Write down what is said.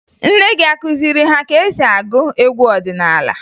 Nne gị akụziri ha ka e si agụ egwu ọdịnaala?